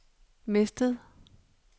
mistet